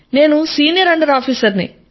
నేను senior under officer ని